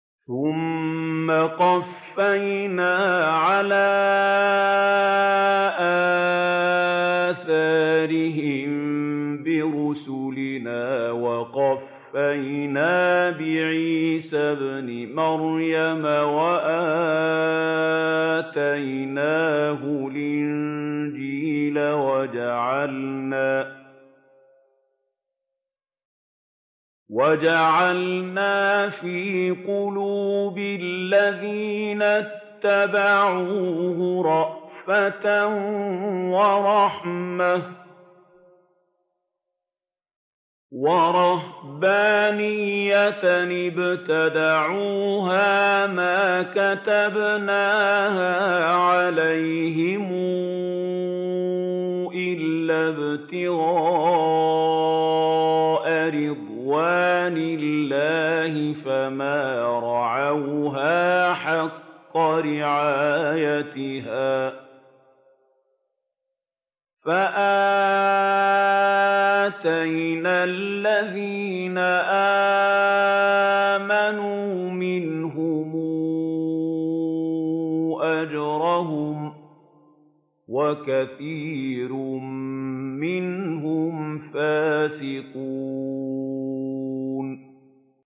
ثُمَّ قَفَّيْنَا عَلَىٰ آثَارِهِم بِرُسُلِنَا وَقَفَّيْنَا بِعِيسَى ابْنِ مَرْيَمَ وَآتَيْنَاهُ الْإِنجِيلَ وَجَعَلْنَا فِي قُلُوبِ الَّذِينَ اتَّبَعُوهُ رَأْفَةً وَرَحْمَةً وَرَهْبَانِيَّةً ابْتَدَعُوهَا مَا كَتَبْنَاهَا عَلَيْهِمْ إِلَّا ابْتِغَاءَ رِضْوَانِ اللَّهِ فَمَا رَعَوْهَا حَقَّ رِعَايَتِهَا ۖ فَآتَيْنَا الَّذِينَ آمَنُوا مِنْهُمْ أَجْرَهُمْ ۖ وَكَثِيرٌ مِّنْهُمْ فَاسِقُونَ